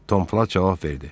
Tom Plat cavab verdi: